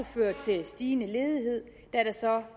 føre til stigende ledighed da der så